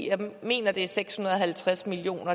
jeg mener at det er seks hundrede og halvtreds million